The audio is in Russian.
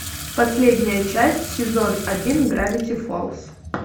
последняя часть сезон один гравити фолз